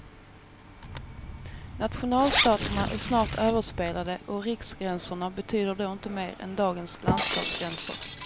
Nationalstaterna är snart överspelade och riksgränserna betyder då inte mer än dagens landskapsgränser.